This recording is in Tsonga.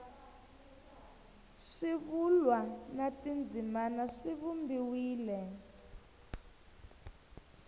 swivulwa na tindzimana swi vumbiwile